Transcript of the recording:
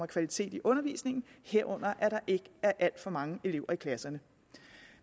kvalitet i undervisningen herunder at der ikke alt for mange elever i klasserne